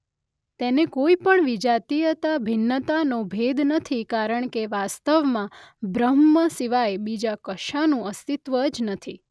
તેને કોઇપણ વિજાતીયતા ભિન્નતાનો ભેદ નથી કારણ કે વાસ્તવમાં બ્રહ્મ સિવાય બીજા કશાનું અસ્તિત્વ જ નથી.